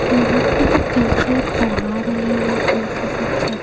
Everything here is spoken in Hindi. यहां पे टीचर पढ़ा रहे हैं कोई सा सब्जेक्ट ।